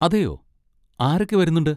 അതേയോ, ആരൊക്കെ വരുന്നുണ്ട്?